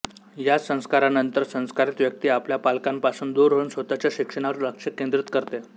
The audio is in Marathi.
या संस्कारानंतर संस्कारित व्यक्ती आपल्या पालकांपासून दूर होऊन स्वतःच्या शिक्षणावर लक्ष केंद्रित करते